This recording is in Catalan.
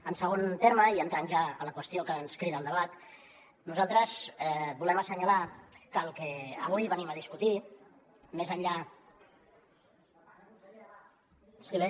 en segon terme i entrant ja a la qüestió que ens crida al debat nosaltres volem assenyalar que el que avui venim a discutir més enllà de